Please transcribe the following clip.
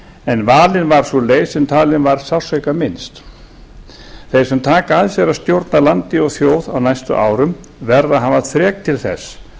en valin var sú leið sem talin var sársaukaminnst þeir sem taka að sér að stjórna landi og þjóð á næstu árum verða að hafa þrek til þess